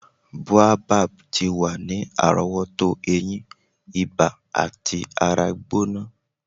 Boabab ti wa ni arowoto eyin, iba ati ara gbona.